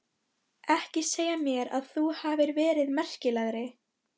Ekki segja mér að þú hafir verið merkilegri.